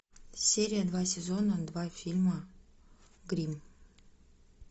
серия два сезона два фильма гримм